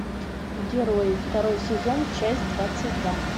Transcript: герои второй сезон часть двадцать два